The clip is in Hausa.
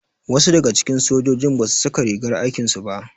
Wasu daga cikin sojojin basu saka rigar aikin su ba.